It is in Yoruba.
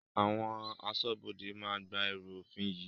Àwọn aṣọ́bodè máa gba ẹrú òfin yìí